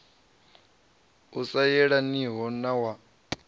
u sa yelaniho na wa